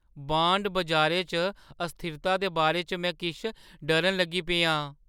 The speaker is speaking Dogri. बांड बजारें च अस्थिरता दे बारे च में किश डरन लगी पेआ आं।